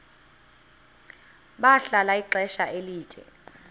bahlala ixesha elide